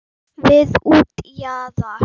Við útjaðar